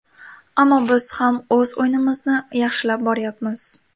Ammo biz ham o‘z o‘yinimizni yaxshilab boryapmiz.